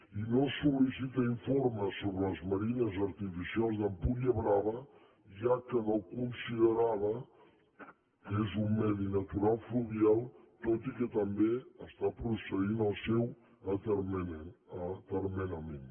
i no sol·licita informes sobre les marines artificials d’empuriabrava ja que no considerava que és un medi natural fluvial tot i que també està procedint al seu atermenament